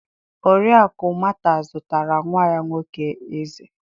Oriakụ Mata zụtara nwa ya nwoke ezé.